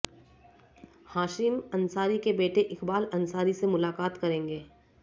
हाशिम अंसारी के बेटे इकबाल अंसारी से मुलाकात करेंगे